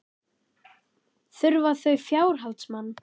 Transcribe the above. Þurfa þau fjárhaldsmann?